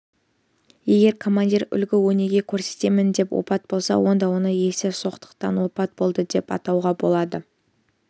егер командир үлгі-өнеге көрсетемін деп опат болса онда оны есерсоқтықтан опат болды деп айтуға болады